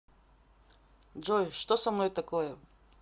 джой что со мной такое